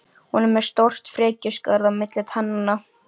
Hún er með stórt frekjuskarð á milli tannanna.